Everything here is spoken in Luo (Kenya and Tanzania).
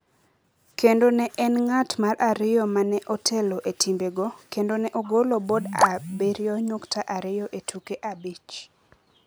kendo ne en ng’at mar ariyo ma ne otelo e timbego kendo ne ogolo bod abiriyo nyukta ariyo e tuke abich.